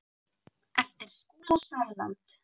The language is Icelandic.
eftir Skúla Sæland